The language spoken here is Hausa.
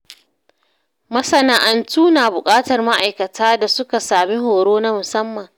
Masana’antu na buƙatar ma’aikata da suka sami horo na musamman.